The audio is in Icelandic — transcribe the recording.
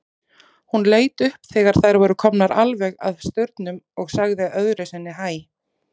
Hún leit upp þegar þær voru komnar alveg að staurnum og sagði öðru sinni hæ.